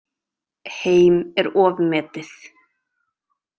Heim er ofmetið.